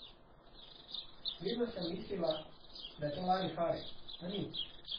Vedno sem mislila, da je to larifari, a ni.